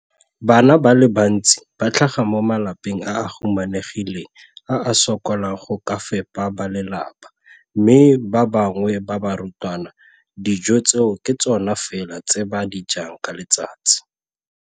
Bana ba le bantsi ba tlhaga mo malapeng a a humanegileng a a sokolang go ka fepa ba lelapa mme ba bangwe ba barutwana, dijo tseo ke tsona fela tse ba di jang ka letsatsi.